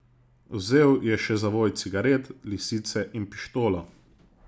Vzel je še zavoj cigaret, lisice in pištolo.